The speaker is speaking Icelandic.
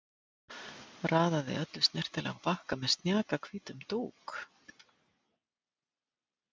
Raðaði öllu snyrtilega á bakka með snjakahvítum dúk.